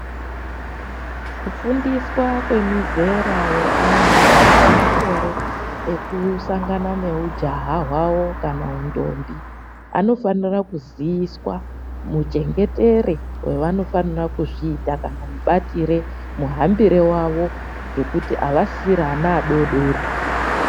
Kufundiswa kwemizera yeana aripamakore ekusangana neujaha hwavo kana undombi, anofanira kuziiswa muchengetere wevanofanira kuzviita, kamubatire muhambire wavo ngekuti avasisiri ana adodori.